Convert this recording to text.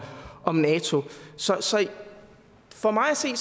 om nato så så for mig at se